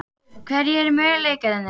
Hverjir eru möguleikarnir?